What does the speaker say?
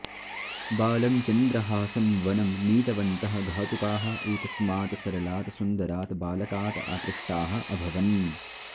बालं चन्द्रहासं वनं नीतवन्तः घातुकाः एतस्मात् सरलात् सुन्दरात् बालकात् आकृष्टाः अभवन्